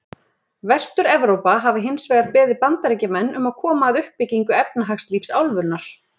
Vestur-Evrópa hafi hins vegar beðið Bandaríkjamenn um að koma að uppbyggingu efnahagslífs álfunnar.